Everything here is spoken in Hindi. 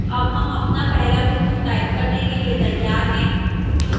अब हम अपना पहला बिंदु type करने के लिए तैयार हैं